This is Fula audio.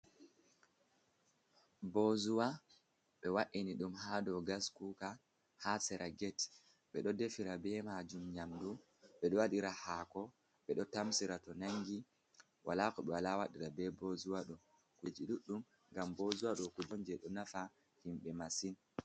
Bozuwa ɓe wa’ini ɗum ha ɗow gaskuka ha sera get, ɓeɗo defira be majum nyamdu ɓeɗo wɗira hako ɓeɗo tamsira to nangi wala ko ɓe wala waɗira be bozuwa ɗow, kuje ɗuɗɗum ngam bozuwa ɗo kuje'on je ɗo nafa himɓe masin.